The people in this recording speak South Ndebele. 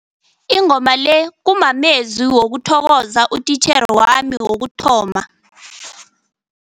Ingoma le kumamezwi wokuthokoza utitjhere wami wokuthoma.